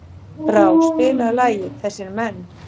Brá, spilaðu lagið „Þessir Menn“.